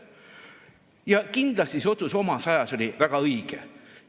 Ja kindlasti see otsus oli omas ajas väga õige.